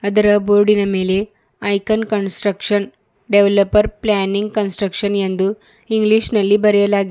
ಇದರ ಬೋರ್ಡಿನ ಮೇಲೆ icon construction developer planning construction ಎಂದು ಇಂಗ್ಲೀಷ್ ನಲ್ಲಿ ಬರೆಯಲಾಗಿ --